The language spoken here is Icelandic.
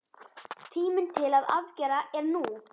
Tíminn til aðgerða er nú!